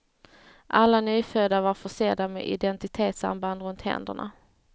Alla nyfödda var försedda med identitetsarmband runt händerna.